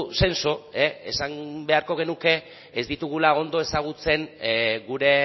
senso esan beharko genuke ez ditugula ondo ezagutzen gure